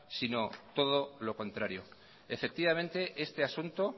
sino todo lo contrario efectivamente este asunto